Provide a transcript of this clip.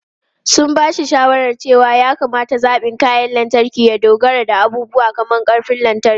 Sun ba shi shawarar cewa ya kamata zaɓin kayan lantarki ya dogara da abubuwa kamar ƙarfin lantarki.